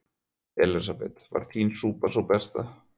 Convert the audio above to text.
Elísabet: Var þín súpa sú besta?